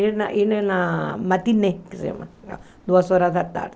Ir na na matinê, que se chama, duas horas da tarde.